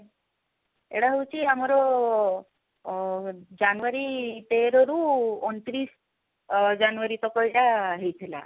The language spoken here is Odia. ଏଇଟା ହଉଛି ଆମର ଅ january ତେର ରୁ ଅଣ ତିରିଶ ଅ january ତକ ଏଇଟା ହେଇଥିଲା